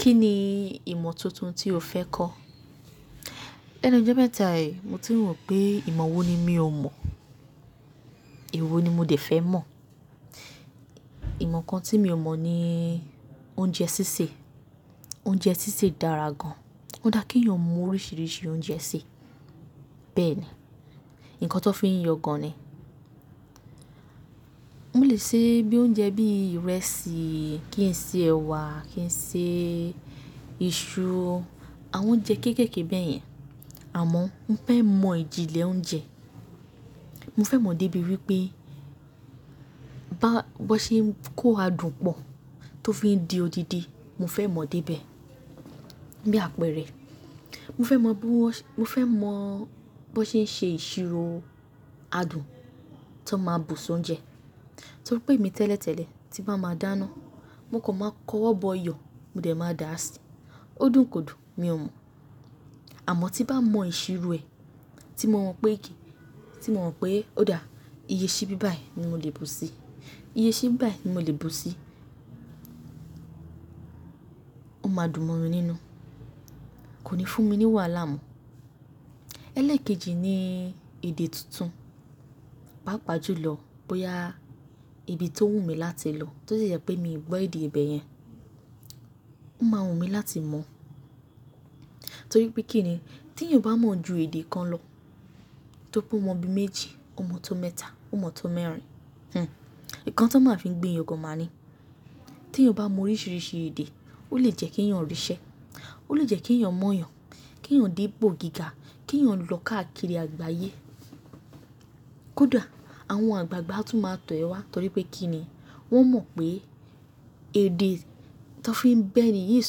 Kí ni ìmọ̀ tuntun tí o fẹ́ kọ́? Lẹ́nu ijo méta yìí mo ti wọ̀ pé ìmọ̀ wo ni mí ò mọ̀, èwo ni mo dè fẹ́ mọ̀. Ìmọ̀ kan tí mi ò mọ̀ ni oúnjẹ sísè. Oúnjẹ sísè dára gan. Ó dá kí èèyàn mọ oríṣiríṣi oúnjẹ sè, bẹ́ẹ̀ ni, ǹkan tó fi ń yọ gan ni. Mo lè se bí oúnjẹ bí ìrẹsì, kí n ṣe ẹ̀wà, kí n ṣe iṣu, àwọn oúnjẹ kéékèèké bẹ́ẹ̀ yẹn. Àmọ́ mo fẹ́ mọ ìjìnlẹ̀ oúnjẹ. Mo fẹ́ mọ débi wípé bá-- bi wọ́n ṣe ń kó adùn pọ̀ tó fi ń di odidi, mo fẹ́ mọ dé ibẹ̀, bí àpẹẹrẹ. Mo fẹ́ mọ bí wọ́n-- mo fẹ́ mọ bí wọ́n ṣe ń ṣe ìṣirò adùn tó máa bù sí oúnjẹ. Torí pé èmi tẹ́lẹ̀ tẹ́lẹ̀ tí bá máa dáná, mo kò máa kọ́wọ́ bọ iyọ, mo dè máa dà á sí, ó dùn kò dùn mi ò mọ̀. Àmọ́ tí bá mọ ìṣirò ẹ̀, tí mo mọ̀ pé kìí, tí mo mọ̀ pé ó dá, iye ṣíbí báyìí ni mo lè bù sí i, iye ṣíbí báyìí ni mo lè bù sí i. Ó máa dùn mọ́ mi nínú. Kò ní fún mi ní wàhálà mọ́. Ẹlẹ́ẹ̀kejì ni èdè tuntun. Pápa jú lọ bóyá ibi tó wù mí láti lọ tó de jẹ́ pé mi gbọ́ èdè ibẹ̀ yẹn, ó máa wù mí láti mọ̀. Torí pé kí ni, tí èèyàn bá mọ̀ ju èdè kan lọ, tó pé ó mọ bí i méjì, ó mọ tó mẹ́ta, ó mọ tó mẹ́rin, hih, ǹkan tó máa ń fi gbé yọ gan máa ní. Tí èèyàn bá mọ oríṣiríṣi èdè, ó lè jẹ́ kí èèyàn rí ṣẹ, ó lè jẹ́ kí èèyàn mọ̀ èèyàn, kí èèyàn dé pọ̀ gíga, kí èèyàn lọ káàkiri àgbáyé. Kódà àwọn àgbàgbà tún máa tọ̀ ẹ wá torí pé kí ni, wọ́n mọ̀ pé èdè tó fi ń ba ẹ̀ní yìí ń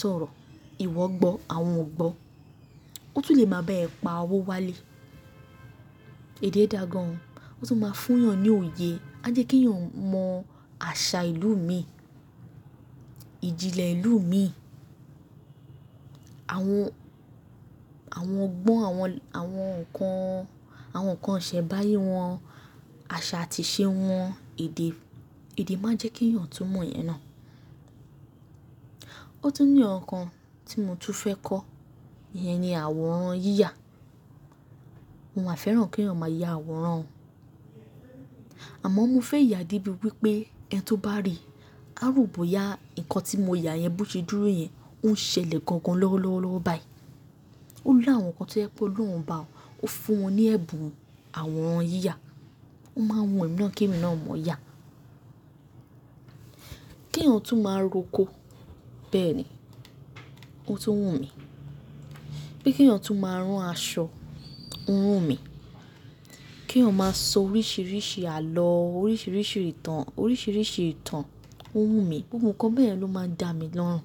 sọ̀rọ̀, ìwọ gbọ́, àwọn ò gbọ́. Ó tún lè máa bá ẹ pa owó wálé. Èdè dá gan an, ó tún máa fún èèyàn ní òye, a jẹ́ kí èèyàn mọ àṣà ìlú mi, ìjìnlẹ̀ ìlú mi. Àwọn, àwọn ọgbọ́n àwọn, àwọn ǹkan, àwọn ǹkan iṣẹ̀mbáyé wọn, àṣà àti ìṣe wọn, èdè, èdè máa jẹ́ kí èèyàn tún mọ̀ ìyẹn náà. Ó tún ní ǹkan tí mo tún fẹ́ kọ́, ìyẹn ni àwòrán yíyà. Mo máa fẹ́ràn kí èèyàn máa yá àwòrán. Àmọ́ mo fẹ́ yà débi wípé ẹni tó bá rí àròbóyá ǹkan tí mo yà yẹn bó ṣe dúró yẹn, ó ń ṣẹlẹ̀ gangan lọ́wọ́ lọ́wọ́ lọ́wọ́ báyìí. Ó ní àwọn ǹkan tó je pẹ olorun obá ọ, ó fún wọn ní ẹ̀bùn àwòrán yíyà. Ó máa ń wù emí na ki emi náà mọ̀ yá. Kí èèyàn tún máa róko, bẹ́ẹ̀ ni, ó tún wù mí. Kí èèyàn tún máa rán aṣọ, ó wù mí. Kí èèyàn máa sọ oríṣiríṣi àlọ́, oríṣiríṣi ìtàn, oríṣiríṣi ìtàn, ó wù mí. Gbogbo kan bẹ́ẹ̀ ló máa ń dà mí lọ́hùn.